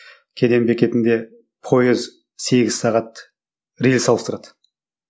кеден бекетінде пойыз сегіз сағат рельс ауыстырады